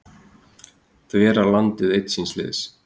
Þverar landið einn síns liðs